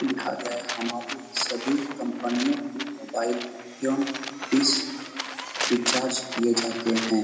लिखा गया है हमारे यहाँ सभी कंपनियों के मोबाइल एवं डिश रिचार्ज किये जाते हैं।